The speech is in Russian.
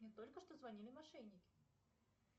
мне только что звонили мошенники